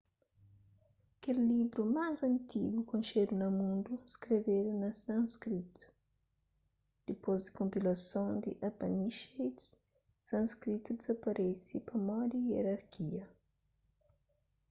kel livru más antigu konxedu na mundu skrebedu na sanskritu dipôs di konpilason di upanishads sanskritu dizaparese pamodi ierarkia